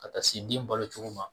Ka taa se den balocogo ma